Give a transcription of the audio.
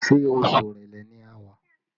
Ṣé oṣù Èrèlé ni a wà?